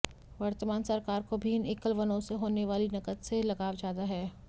वर्तमान सरकार को भी इन एकल वनों से होने वाली नकद से लगाव ज्यादा है